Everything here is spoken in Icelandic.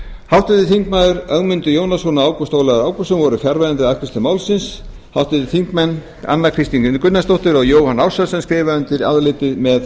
háttvirtur þingmaður ögmundur jónasson og ágúst ólafur ágústsson voru fjarverandi við afgreiðslu málsins háttvirtir þingmenn anna kristín gunnarsdóttir og jóhann ársælsson skrifa undir álitið þetta með